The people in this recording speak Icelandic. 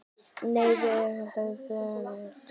Nei, við höfum aldrei hist.